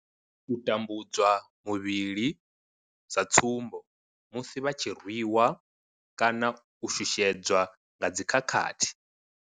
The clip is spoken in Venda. U tambudzwa muvhili, sa tsumbo, musi vha tshi rwi wa kana u shushedzwa nga dzi khakhathi.